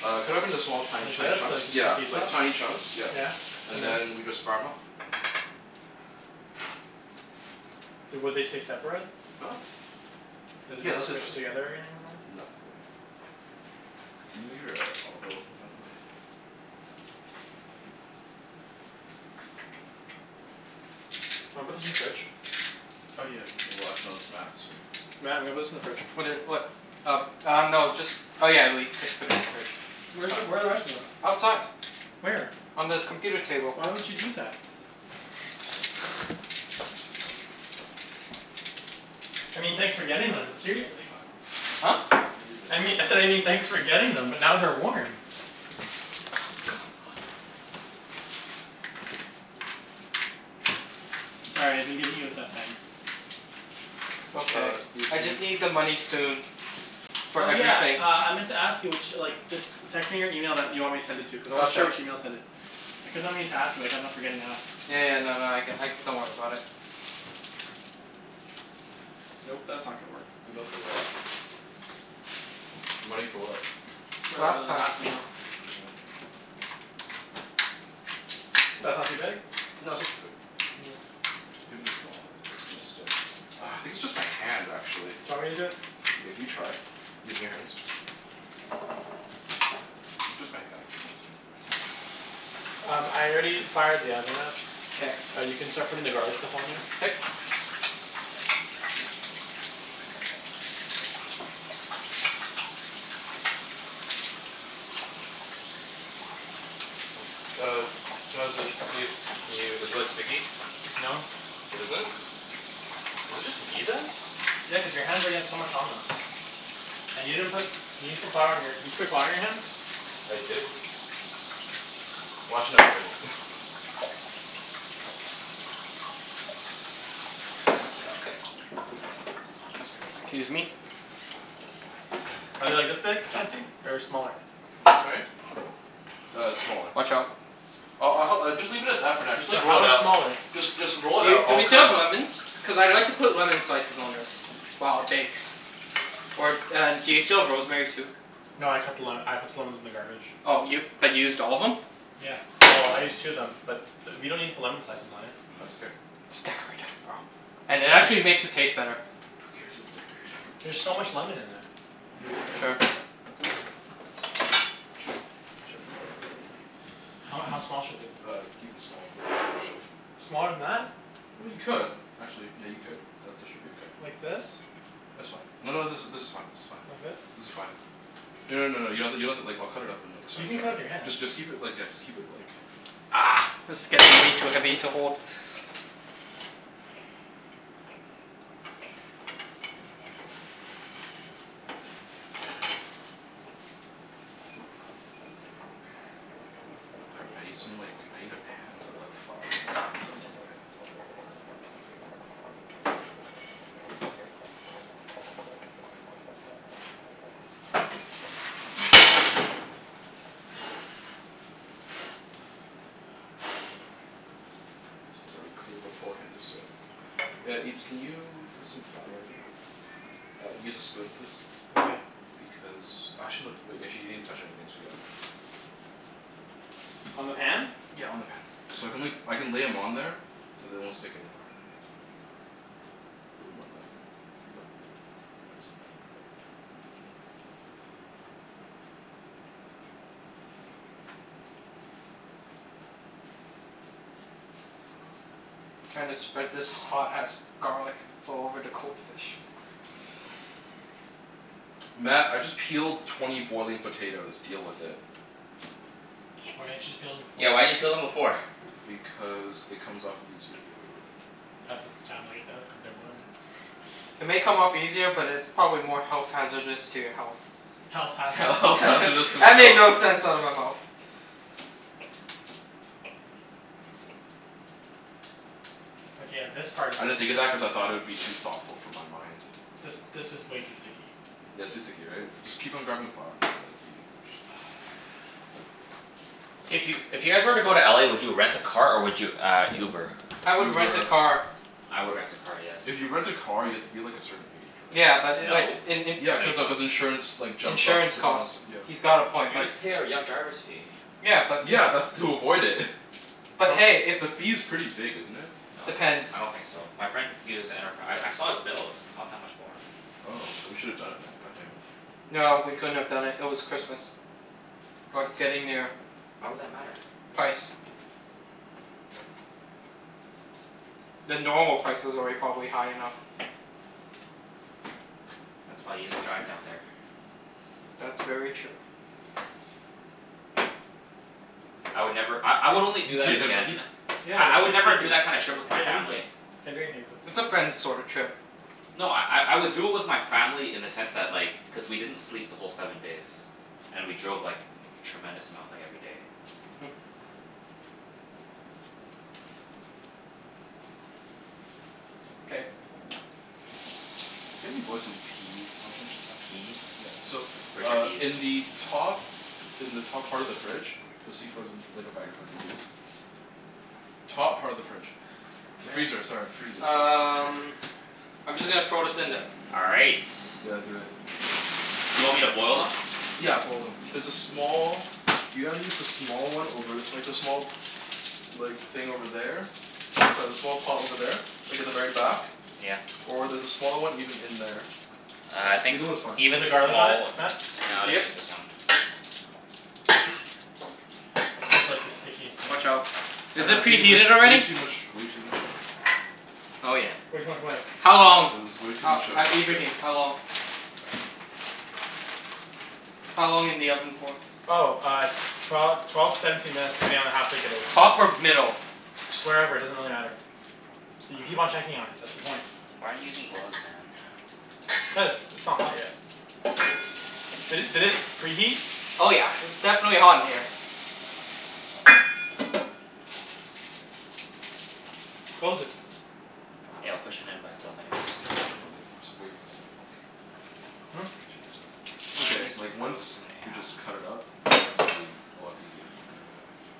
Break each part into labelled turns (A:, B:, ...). A: Uh, cut it up into small, tiny
B: Like
A: chu-
B: this? So
A: chunks.
B: as to get the
A: Yeah,
B: piece
A: like
B: off?
A: tiny chunks, yeah.
B: Yeah. And
A: And
B: then?
A: then we just fire 'em off.
B: Would they stay separate?
A: Huh?
B: Are they
A: Yeah,
B: not
A: they'll stay
B: squished
A: separate.
B: together any- anymore?
A: No, they won't. Can you move your uh olive oil thing out of the way?
B: Wanna put this in the fridge?
A: Oh yeah. Well, actually no, it's Mat's, so
B: Mat, I'm gonna put this in the fridge.
C: What i- what? Uh uh, no. Just Oh yeah, le- c- put it in the fridge. It's
B: Where is,
C: fine.
B: where are the rest of them?
C: Outside.
B: Where?
C: On the computer table.
B: Why would you do that? I mean
A: Leave the
B: thanks for
A: second
B: getting
A: half
B: them, but
A: for some other
B: seriously.
A: time.
C: Huh?
A: I'm gonna leave the
B: I mean,
A: second
B: I
A: half
B: said I mean thanks
A: for
B: for
A: some other
B: getting
A: time.
B: them but now they're warm.
C: Oh,
B: God.
C: come on.
B: I'm sorry. I've been giving you a tough time.
C: It's okay.
A: Uh, you
C: I just need the money soon. For
B: Oh yeah,
C: everything.
B: uh, I meant to ask you ch- like just text me your email that you want me to send it to, cuz I wasn't sure
C: Gotcha.
B: which email to send it. I kept on meaning to ask you but I kept on forgetting to ask.
C: Yeah yeah, no no, I c- like, don't worry about it.
B: Nope. That's not gonna work.
A: Email for what? Money for what?
B: For the
C: Last time.
B: last meal.
A: Mm.
B: That's not too big?
A: No, that's not too big. You can make it smaller. It's gonna stick. Ah, I think it's just my hands, actually.
B: Do you want me to do it?
A: Yeah, can you try? Using your hands? Maybe just my hands.
B: Um, I already fired the oven up.
C: K.
B: Uh, you can start putting the garlic stuff on there.
C: K.
A: Uh how's it, Ibs? Can you, is it like sticky?
B: No.
A: It isn't? Is it just me, then?
B: Yeah, cuz your hands already had so much on them. And you didn't put, you didn't put flour on your Did you put flour on your hands?
A: I did. Well, actually I've been
C: K. Excuse me.
B: Are they like this big, Chancey? Or smaller?
A: Sorry? Uh, smaller.
C: Watch out.
A: I'll I'll hel- just leave it at that for now. Just
B: So,
A: like, roll
B: how
A: it
B: much
A: out.
B: smaller?
A: Just just roll
C: Do
A: it
C: y-
A: out.
C: do
A: I'll
C: we
A: cut
C: still
A: 'em
C: have
A: up.
C: lemons? Cuz I'd like to put lemon slices on this. While it bakes. Or and do you still have rosemary, too?
A: That's
B: No, I cut the le-
A: better.
B: I put the lemons in the garbage.
C: Oh, y- but you used all of them?
B: Yeah. Well, I used two of them. But we don't need to put lemon slices on it.
A: That's okay.
C: It's decorative, bro. And it
B: Yeah, I
C: actually
A: It's
B: just
C: makes it taste better.
A: Who cares if it's decorated?
B: There's so much lemon in that.
C: Sure. Watch
A: Chop.
C: out.
A: Chop.
B: How how small should they be?
A: Uh, even smaller than that actually.
B: Smaller than that?
A: Well, you could. Actually, yeah, you could. That that should be okay.
B: Like this?
A: That's fine. No no, this is this is fine, this is
B: Like
A: fine.
B: this?
A: This is fine. No no no no, you have to, you don't have to like, I'll cut it up in like
B: You
A: tiny
B: can cut it with your
A: chunks.
B: hand.
A: Just just keep it like, yeah, just keep it like
B: Argh!
C: This is getting way too heavy to hold.
A: Oh crap. I need some like, I need a pan with like flour in it so I can put 'em on the pan. Since I already cleaned beforehand, so Yeah, Ibs, can you put some flour in here? Uh, use a spoon please.
B: Why?
A: Because, actually no, d- wait, you actually didn't touch anything, so yeah.
B: On the pan?
A: Yeah, on the pan. So I can la- I can lay 'em on there so they won't stick anymore. Little more than that. Keep going. Thanks. K, we're good.
C: Trying to spread this hot ass garlic all over the cold fish.
A: Mat, I just peeled twenty boiling potatoes. Deal with it.
B: Why didn't you just peel them
D: Yeah, why
B: beforehand?
D: didn't you peel them before?
A: Because it comes off easier the other way.
B: That doesn't sound like it does, cuz they're boiling.
C: It may come off easier, but it's probably more health hazardous to your health.
B: Health
A: Health
B: hazardous to
A: hazardous to my
C: That made
A: health.
C: no sense out of my mouth.
B: Okay, yeah, this part
A: I didn't think of that cuz I thought it would be too thoughtful for my mind.
B: This this is way too sticky.
A: Yeah, it's too sticky, right? Just keep on grabbing flour until like, you
D: Hey, if you if you guys were to go to LA, would you rent a car or would you uh Uber?
C: I would rent a
A: Uber.
C: car.
D: I would rent a car, yes.
A: If you rent a car, you have to be like, a certain age, right?
C: Yeah, but like
D: No.
C: in in
A: Yeah, cuz of, cuz insurance like, jumps up
C: insurance
A: the cost,
C: costs.
A: yeah.
C: He's got a point,
D: You
C: but
D: just pay a r- young driver's fee.
C: Yeah, but if
A: Yeah, that's to avoid it.
C: But
A: But
C: hey, if
A: the fee's pretty big, isn't it?
D: No, it's not. I
C: Depends.
D: don't think so. My friend uses Enterpri- I I saw his bills. Not that much more.
A: Oh, then we should have done it Mat, god damn it.
C: No, we couldn't have done it. It was Christmas. Or
D: What?
C: getting there.
D: Why would that matter?
C: Price. The normal price was already probably high enough.
D: That's why you just drive down there.
C: That's very true.
D: I would never, I I would only do
A: You
D: that
A: okay there, buddy?
D: again
B: Yeah,
D: I I
B: they're
D: would
B: too
D: never do
B: sticky.
D: that kind of
B: I
D: trip with my
B: can't use
D: family.
B: it. Can't do anything with it.
C: It's a friends sorta
A: Yeah.
C: trip.
D: No, I I I would do it with my family in the sense that, like cuz we didn't sleep the whole seven days. And we drove like, tremendous amount like, every day.
C: Hmm. K.
A: Can you help me boil some peas, Alvin?
D: A pea?
A: Yeah. So,
D: Where's your
A: uh in
D: peas?
A: the top in the top part of the fridge you'll see frozen like, a bag of frozen peas. Top part of the fridge. The freezer, sorry. The freezer,
C: K.
A: sorry.
C: Um
D: Freezer.
C: I'm just gonna throw this in then.
D: All right.
A: Yeah, do it.
D: Do you want me to boil them?
A: Yeah, boil them. There's a small, you gotta use the small one over, like the small like, thing over there. Sorry, the small pot over there. Like at the very back.
D: Yeah.
A: Or there's a small one even in there.
D: Ah, I think
A: Either one's fine.
B: Did you put
D: even
B: the garlic on
D: small w-
B: it, Mat?
D: No,
A: Yeah,
D: I'll
A: buddy.
D: just
C: Yep.
D: use this one.
B: This is like the stickiest thing.
C: Watch out.
A: I
C: Is
A: know, I
C: it
A: think there's
C: preheated
A: way
C: already?
A: too much, way too much, um
C: Oh yeah.
D: Yeah.
B: Way too much what?
C: How
A: Uh,
C: long?
A: there was way too
C: Oh,
A: much uh
C: uh,
A: moisture.
C: Ibrahim? How long? How long in the oven for?
B: Oh, uh s- twelve twelve to seventeen minutes depending on how thick it is.
C: Top or middle?
B: Just wherever. It doesn't really matter. So you keep on checking on it. That's the point.
D: Why aren't you using gloves, man?
B: Cuz it's not hot yet. Did it did it preheat?
C: Oh yeah. It's definitely hot in here.
B: Close it.
D: Yeah, I'll push it in by itself anyways.
A: I just should of done something that's way more simpler.
B: Hmm?
A: Should just done som- It's
D: Why are
A: okay.
D: these
A: Like, once
D: frozen
A: we just cut it up, it's gonna be a lot easier from there on out.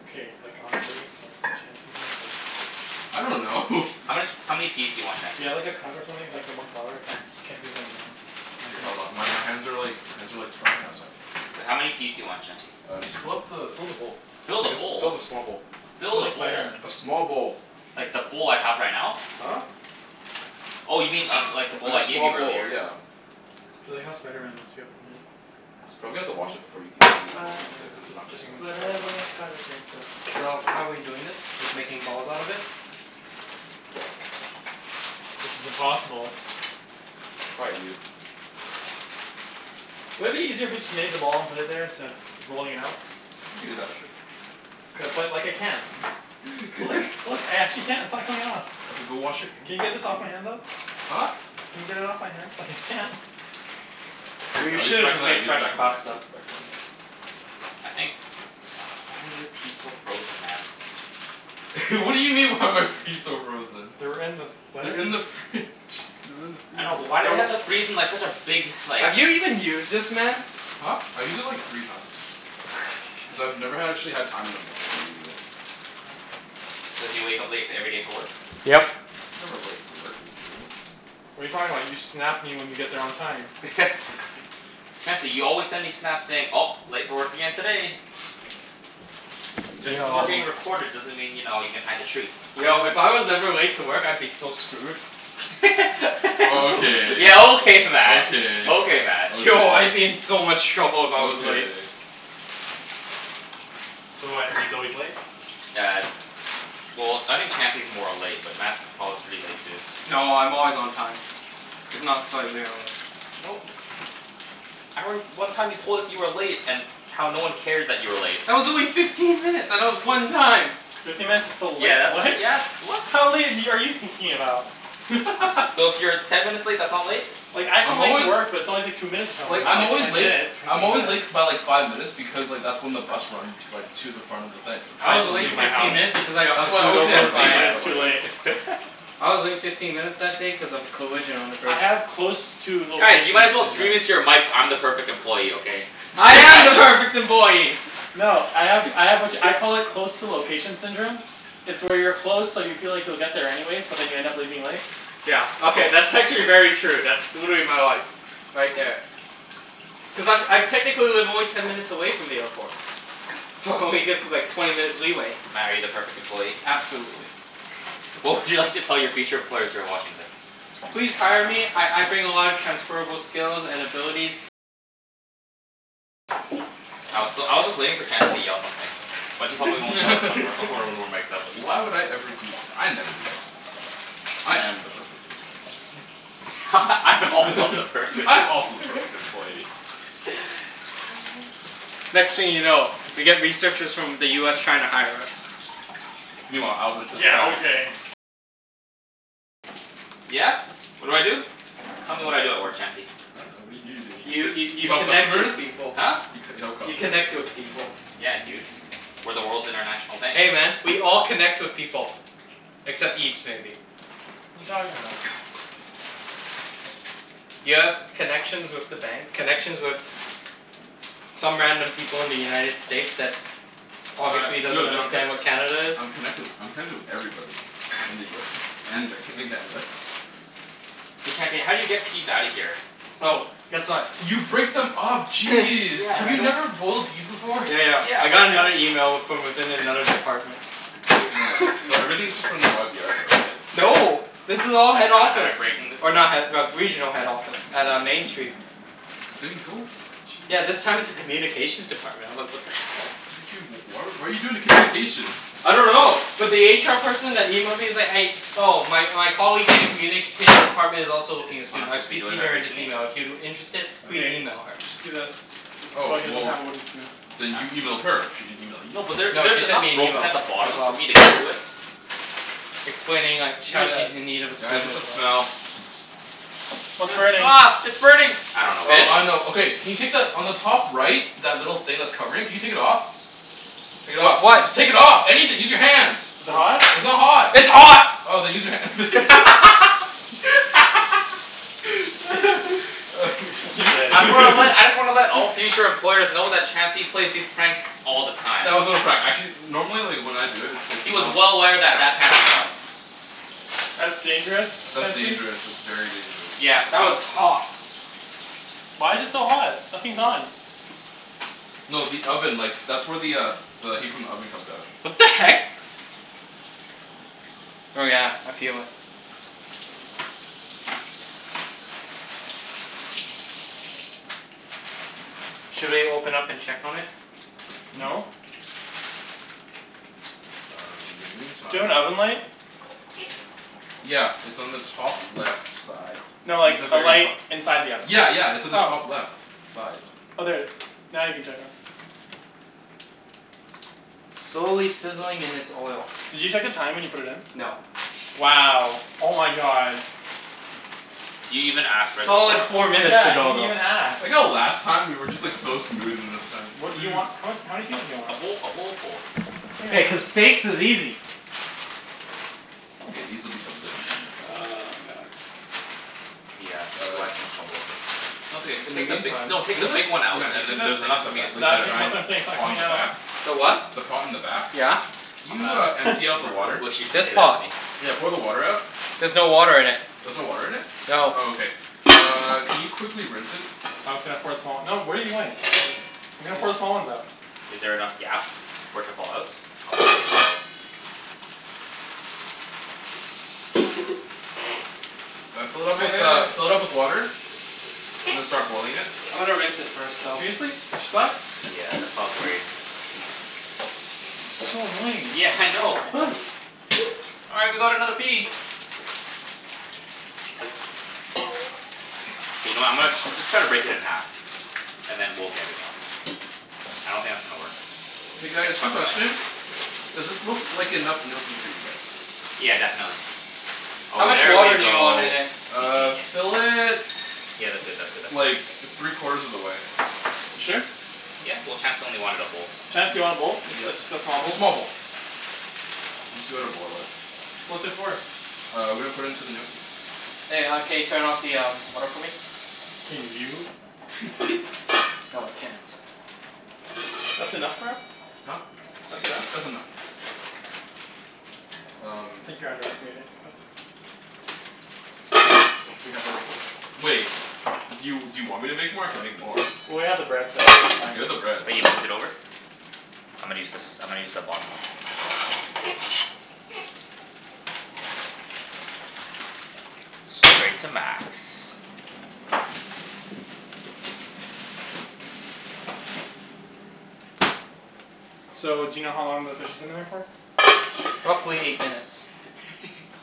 B: Okay, like, honestly like, Chancey. What is this?
A: I don't know.
D: How much, how many peas do you want,
B: Do you
D: Chancey?
B: have like a cup or something so I can get more flour? I can't can't do this anymore.
A: Okay, hold on. My my hands are like, my hands are like dry now so I can
D: Wait, how
A: actually
D: many peas do you want, Chancey?
A: Uh, just fill up the fill up the bowl.
D: Fill the
A: I guess fill
D: bowl?
A: the small bowl.
B: I feel
D: Fill the
B: like
D: bowl?
B: Spider Man.
A: A small bowl.
D: Like, the bowl I have right now?
A: Huh?
D: Oh, you mean uh like the
A: Like
D: bowl I
A: a
D: gave
A: small
D: you
A: bowl,
D: earlier?
A: yeah.
B: I feel like how Spider Man must feel.
A: Probably have
C: Spider
A: to wash
C: Man.
A: it before you keep on working
C: Spider
A: with
C: Man.
A: it, cuz it's not
B: It's
A: gonna
C: Just
B: too much
A: work.
B: on
C: whatever a
B: his hand.
C: spider pan does. So, how we doing this? Just making balls out of it?
A: Yep.
B: Which is impossible.
A: Quiet, you.
B: Wouldn't it be easier if we just made them all and put it there, instead of rolling it out?
A: You could do that, sure.
B: Cuz like, I can't. Look, look. I actually can't. It's not coming off.
A: Okay, go wash your hand,
B: Can you get
A: jeez.
B: this off my hand, though?
A: Huh?
B: Can you get it off my hand, cuz I can't?
A: Here,
C: We
A: I'll use the
C: should have
A: back of
C: just
A: the
C: made
A: knife, use the
C: fresh
A: back of the knife,
C: pasta.
A: use the back of the knife.
D: I think why are your peas so frozen, man?
A: What do you mean, why are my fees so frozen?
B: They were in with what?
A: They're in the fridge. They're in the
D: I
A: freezer.
D: know, but why do they
C: Yo
D: have to freeze them like such a big, like
C: Have you even used this, man?
A: Huh? I've used it like, three times. Cuz I've never ha- actually had time in the morning to use it.
D: Cuz you wake up late f- every day for work?
C: Yep.
A: I'm never late for work. Are you kidding me?
B: What are you talking about? You Snap me when you get there on time.
D: Chancey, you always send me Snaps saying, "Oh, late for work again today."
A: Are
D: Just
A: you
D: cuz we're
C: Yo.
D: being recorded doesn't mean, you know, you can hide the truth.
C: Yo, if I was ever late to work I'd be so screwed.
A: Okay.
D: Yeah, okay Mat!
A: Okay,
D: Okay Mat.
C: Yo, I'd be
A: okay.
C: in so much trouble if I was late.
A: Okay.
B: So what, he's always late?
D: Yeah. Well, I think Chancey's more late, but Mat's prob- pretty late too.
C: No, I'm always on time. If not slightly early.
D: No. I re- one time you told us you were late and how no one cared that you were late.
C: That was only fifteen minutes, and it was one time.
B: Fifteen minutes is still late,
D: Yeah, that's,
B: right?
D: yeah, that's, what?
B: How late have y- are you thinking about?
D: So, if you're ten minutes late, that's not late?
B: Like, I come
A: I'm
B: late to
A: always
B: work but it's always like two minutes or
A: Like,
B: something. Not
A: I'm
B: like
A: always
B: ten
A: late
B: minutes.
A: I'm
B: Fifteen
A: always late k-
B: minutes.
A: by like five minutes because like, that's when the bus runs like to the front of the thing.
C: I
B: I
C: was
A: To the
B: just
C: late
B: leave
A: my
B: my
C: fifteen
B: house
C: minutes
A: workplace.
C: because I got
A: That's why I
C: screwed
A: always say
D: I
C: over
A: I'm
B: two
D: just leave
A: late,
C: by
D: my
A: but
B: minutes too
A: like
B: late.
C: I was late fifteen minutes that day cuz of a collision on the
B: I
C: bridge.
B: have close to
D: Guys, you
B: location
D: might as well scream into
B: syndrome.
D: your mics, "I'm the perfect employee!" Okay?
C: I am
D: Nice.
C: the perfect employee!
B: No, I have I have which, I call it close to location syndrome. It's where you're close, so you feel like you'll get there anyways, but then you end up leaving late.
C: Yeah, okay, that's actually very true. That's, would be my life. Right there. Cuz I'm I technically live only ten minutes away from the airport. So, I only give like, twenty minutes leeway.
D: Mat, are you the perfect employee?
C: Absolutely.
D: What would you like to tell your future employers who are watching this?
C: Please hire me. I I bring a lot of transferable skills and abilities.
D: I was s- I was just waiting for Chancey to yell something. But he probably won't yell it when we're when we're mic'd up.
A: Why would I ever do that? I never do that kind of stuff. I am the perfect employee.
D: I am also the perfect
A: I'm also the perfect employee.
C: Next thing you know, we get researchers from the US trying to hire us.
A: Meanwhile, Alvin sits back
D: Yeah? What do I do? Tell me what I do at work, Chancey?
A: I dunno. What do you do? Don't you
C: You
A: just sit
C: y-
A: You
C: you
A: help
C: connect
A: customers?
C: with people.
D: Huh?
A: You c- you help
C: You
A: customers?
C: connect with people.
D: Yeah, dude. We're the world's international bank.
C: Hey man, we all connect with people. Except
D: Okay.
C: Ibs, maybe.
B: You talking about?
C: You have connections with the bank, connections with some random people in the United States that obviously
A: Tri-
C: doesn't
A: true, d- I'm c-
C: understand what Canada is.
A: I'm connected wi- I'm connected with everybody in the US and Vanco- in Canada.
D: Hey Chancey, how do you get peas outta here?
C: Oh, guess what?
A: You break them up. Jeez!
D: Yeah,
A: Have
D: but I
A: you
D: don't
A: never boiled peas before?
C: Yeah, yeah.
D: Yeah,
C: I
D: but
C: got
D: I don't
C: another email w- from within another department.
A: Nice. So everything's just from the YVR though, right?
C: No. This is
D: But
C: all head
D: am I am I
C: office.
D: breaking this?
C: Or not head but regional head office. At uh, Main Street.
A: Then go for it.
C: Yeah, this
A: Jeez.
C: time it's a communications department. I'm like, what the hell?
A: How did you, w- why what are you doing with communications?
C: I don't know. But the HR person that emailed me is like, a- Oh, my my colleague in the communications department is
D: Is
C: also looking a
D: this what I'm
C: student. I've
D: supposed to be doing
C: CCed
D: by
C: her in this
D: breaking it?
C: email. If you're interested, please
B: Okay.
C: email her.
B: Just do this. Just just oh,
A: Oh,
B: he doesn't
A: well
B: have a wooden spoon.
A: then
D: Huh?
A: you emailed her? She didn't email you.
D: No, but there
C: No, she
D: there's
C: sent
D: enough
C: me an
D: broken
C: email.
D: at the bottom
C: As
D: for
C: well.
D: me to get to it.
C: Explaining like, sh-
B: Do
C: how she's
B: this.
C: in need of a
A: Guys,
C: student
A: what's
C: as
A: that
C: well.
A: smell?
B: What's burning?
D: Ah, ah, it's burning! I
C: The
D: dunno what
A: Oh, I
C: fish?
A: know.
D: it is.
A: Okay can you take the, on the top right that little thing that's covering? Can you take it off? Take it
C: With
A: off.
C: what?
A: Just take it off! Anything! Use your hands!
B: Is
C: Is
B: it
C: it
B: hot?
C: hot?
A: It's not hot!
C: It's hot!
A: Oh, then use your hand.
B: You're such a
A: You
B: dick.
D: I just wanna let I just wanna let all future employers know that Chancey plays these pranks all the time.
A: That was not a prank. Actually normally like, when I do it it's
D: He was
A: not
D: well aware that that pan was hot.
B: That's dangerous,
A: That's
B: Chancey.
A: dangerous. That's very dangerous.
D: Yeah,
C: That was
D: but
C: hot.
B: Why's it so hot? Nothing's on.
A: No, the oven. Like, that's where the uh the heat from the oven comes out.
C: What the heck? Oh yeah, I feel it. Should we open up and check on it?
A: Hmm?
B: No.
A: Uh, in the
B: Do you have an
A: meantime
B: oven light?
A: Yeah, it's on the top left side.
B: No,
A: Like
B: like
A: the
B: a
A: very
B: light
A: to-
B: inside the oven.
A: Yeah, yeah. It's on the top
B: Oh.
A: left side.
B: Oh, there it is. Now you can check on it.
C: Slowly sizzling in its oil.
B: Did you check the time when you put it in?
C: No.
B: Wow! Oh my god.
D: You even ask, right before.
C: Solid four minutes
B: Yeah, he
C: ago,
B: didn't
C: though.
B: even
A: I like
B: ask.
A: how last time we were just like so smooth, and this time
B: What do you want? What, how many
D: A
B: pieces do you
D: a
B: want?
D: bowl a bowlful.
C: Yeah, cuz steaks is easy.
A: K, these will be delicious when they come out.
B: Oh my god.
D: Yeah, this is
A: Uh
D: why I had so much trouble with this. No, it's okay. Just
A: In the
D: take the bi-
A: meantime
D: no, take
A: you know
D: the
A: the
D: big
A: s-
D: one out,
A: Mat, do you
D: and
A: see
D: then
A: that
D: there's
A: thing
D: enough
A: at the
D: for me to
A: ba-
B: Tha- te-
D: scoop
A: like
D: out
A: the
D: of
B: that's
D: the
A: giant
B: what
D: bottom.
B: I'm saying. It's not
A: pot on
B: coming
A: the
B: out.
A: back?
C: The what?
A: The pot in the back?
C: Yeah.
A: Can
D: I'm
A: you uh
D: gonna
A: empty out
D: I'm
A: the
D: gonna really
A: water?
D: wish you didn't
C: This
D: say that to
C: pot?
D: me.
A: Yeah, pour the water out.
C: There's no water in it.
A: There's no water in it?
C: No.
A: Oh, okay. Uh, can you quickly rinse it?
B: I was gonna pour some out. No, what are you doing?
D: What do you mean?
B: I was gonna put
C: Excuse.
B: the small ones out.
D: Is there enough gap for it to fall out? Oh, there we go.
A: Uh, fill it
B: Wait,
A: up with
B: wait,
A: uh,
B: wait.
A: fill it up with water. And then start boiling it.
C: I'm gonna rinse it first, though.
B: Seriously? They're stuck?
D: Yeah, that's why I was worried
B: So annoying.
D: Yeah, I know. All right, we got another pea! You know, I'm gonna just try to break it in half. And then we'll get it out. I don't think that's gonna work.
A: K
D: Big
A: guys, quick
D: chunk of ice.
A: question. Does this look like enough gnocchi for you guys?
D: Yeah, definitely.
C: How
D: Oh,
C: much
D: there we
C: water do you want
D: go.
C: in it?
D: You
A: Uh,
D: genius.
A: fill it
D: Yeah, that's good, that's good, that's good,
A: like,
D: that's good.
A: three quarters of the way.
B: You sure?
D: Yeah. Well, Chancey only wanted a bowl.
B: Chancey wanted a bowl? Ju- ju-
A: Yeah,
B: just a small
A: a
B: bowl?
A: small bowl. I'm just gonna boil it.
B: What's it for?
A: Uh, we're gonna put in to the gnocchi.
C: Hey, uh, can you turn off the um water for me?
B: Can you?
C: No, I can't.
B: That's enough for us?
A: Huh?
B: That's enough?
A: That's enough.
B: I
A: Um
B: think you're underestimating us.
A: I wish we had like, a s- Wait. Do you do you want me to make more? I can make more.
B: Well, we have the bread so I think we'll be fine.
A: You have the bread,
D: Oh,
A: so
D: you moved it over? I'm gonna use this, I'm gonna use the bottom one. Straight to max.
B: So, do you know how long the fish has been in there for?
C: Roughly eight minutes.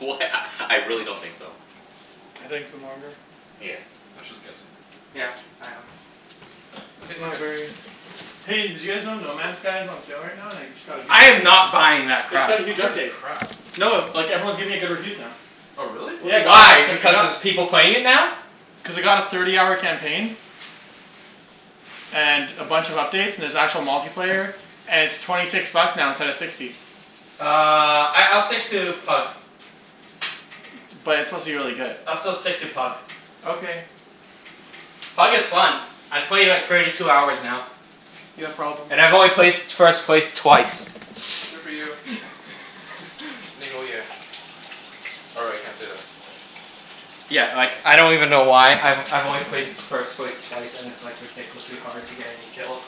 D: Wh- a I really don't think so.
B: I think it's been longer.
D: Yeah.
A: Mat's just guessing.
C: Yeah, I am.
A: Okay,
B: It's
A: we're
B: not
A: good.
B: very Hey, did you guys know No Man Skies is on sale right now, and i- it just got a huge
C: I am
B: update?
C: not buying that
B: It's
C: crap.
B: got a
A: I
B: huge
A: heard it's
B: update.
A: crap.
B: No, like everyone's giving it good reviews now.
A: Oh, really?
C: W-
B: Yeah,
C: why? Because there's people playing it now?
B: Cuz it got a thirty hour campaign and a bunch of updates, and there's actual multiplayer. And it's twenty six bucks now instead of sixty.
C: Uh, I I'll stick to Pug.
B: But it's supposed to be really good.
C: I'll still stick to Pug.
B: Okay.
C: Pug is fun. I played like, thirty two hours now.
B: You have problems.
C: And I've only placed first place twice.
A: Good for you. Or, I can't say that.
C: Yeah, like, I don't even know why. I've I've only placed first place twice and it's like, ridiculously hard to get any kills.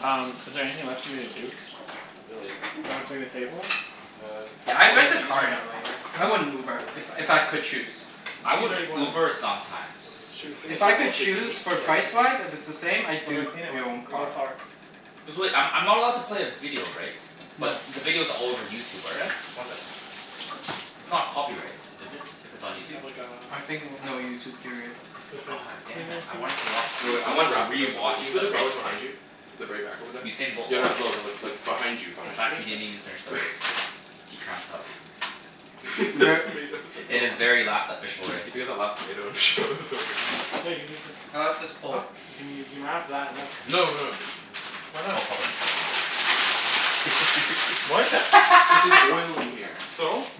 B: Um, is there anything left for me to do?
A: Not really.
B: Can I clean the table?
A: Uh,
C: Yeah,
A: you
C: I'd
A: boiling
C: rent
A: the
C: a
A: peas
C: car
A: right
C: in
A: now?
C: LA, man. I
B: Huh?
C: wouldn't Uber.
A: Boiling the
C: If
A: peas
C: if
A: right
C: I could
A: now?
C: choose.
D: I
B: Pea's
D: would
B: already boiling.
D: Uber sometimes.
A: Okay,
B: Should we clean the
C: If I
B: table
C: could
B: so we can
C: choose,
B: eat?
C: for
A: Yeah, finish it.
C: price-wise, if it's the same? I'd
B: What do I
C: do
B: clean it
C: your
B: with?
C: own car.
B: Wildflower.
D: There's really, I'm I'm not allowed to play a video, right?
C: No.
D: But the video's all over YouTube
B: Yeah?
D: already.
A: One sec, please.
D: It's not copyright, is it? If it's on
B: Do you
D: YouTube?
B: have like, a
C: I think w- no YouTube, period.
B: specific
D: Oh, damn it.
B: cleaning
D: I wanted
B: thingie?
D: to watch
A: Oh wait,
D: the, I
A: I'm gonna
D: wanted to
A: wrap the rest of thi- can
D: rewatch
A: you put
D: the
A: the
D: race
A: garlic
D: today.
A: behind you? The very back over there.
D: Usain Bolt
A: Yeah, no
D: lost.
A: no no, like, behind you
D: In
A: behind
B: Just give
A: you.
B: me
D: fact
B: a
D: he didn't
B: second.
D: even finish the race. He cramped up.
A: The
C: Re-
A: tomatoes are
D: In his
A: gone.
D: very last official race.
A: You last tomato and throw it in there?
B: Here, you can use this.
C: I like this
A: Huh?
C: pole.
B: You can you can wrap that in
D: Public
B: this
A: No,
D: transit.
A: no
B: Why not?
D: Oh, public trust not public transit. Gas station sushi.
B: What?
A: Cuz there's oil in here.
B: So?